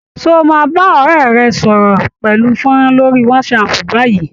Ṣé ó máa bá ọ̀rẹ́ rẹ̀ sọ̀rọ̀ pẹ̀lú fónrán lórí Whatsapp báyìí?